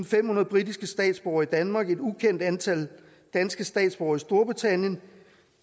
femhundrede britiske statsborgere i danmark og et ukendt antal danske statsborgere i storbritannien